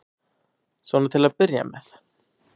Svona til að byrja með.